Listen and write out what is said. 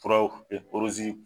Fura